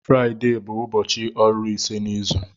Fraịde bụ ụbọchị ọrụ ise n'izu.